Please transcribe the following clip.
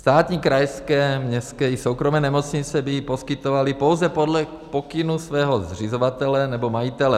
Státní, krajské, městské i soukromé nemocnice by ji poskytovaly pouze podle pokynů svého zřizovatele nebo majitele.